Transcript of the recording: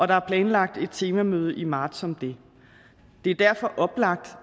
der er planlagt et temamøde i marts om det det er derfor oplagt